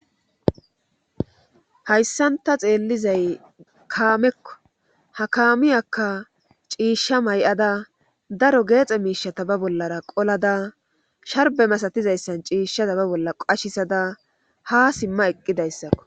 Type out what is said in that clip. hayssanta xeellizay kaamekko ha kaamiyaka ciishsha may7ada daro geexe miishata ba bollara qolada sharbe masatizayssan ciishshata ba bolla qashisada ha simma eqqidayssakko